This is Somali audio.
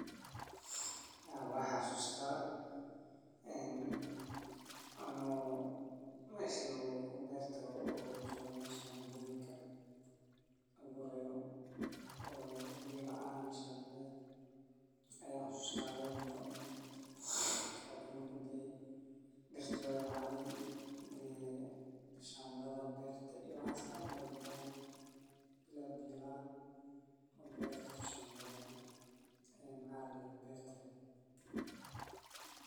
Waan xasuustaa anigoo meesha beerta lagu abuuro joogo, oo meesha shambaarka ah ee biyaha leh – shambaqda – ayaan xasuustaa roob inoo yimid. Roobkii markuu da’ay, dhulkii wuu qoyay, beertana waxaa ka buuxsamay farxad iyo rajo. Waxaan aragnay biyihii oo si fiican ugu fiday dhammaan shambaadyadii, dhirta oo kor.